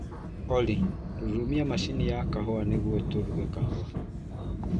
Olly rũrũmia macini ya kahũa nĩguo tũruge kahũa